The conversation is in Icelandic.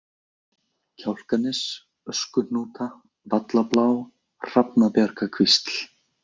Kjálkanes, Öskuhnúta, Vallablá, Hrafnabjargakvísl